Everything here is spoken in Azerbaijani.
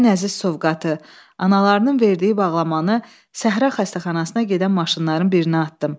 Ən əziz sovqatı, analarının verdiyi bağlamanı səhra xəstəxanasına gedən maşınların birinə atdım.